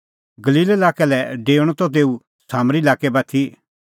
गलील लाक्कै लै डेऊणअ त तेऊ सामरी लाक्कै बाती